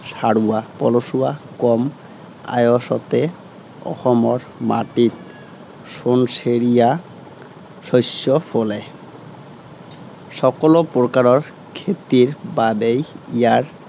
সাৰুৱা, পলসুৱা কম আয়সতে অসমৰ মাটিত সােণসেৰীয়া শস্য ফুলে। সকলাে প্ৰকাৰৰ খেতিৰ বাবেই ইয়াৰ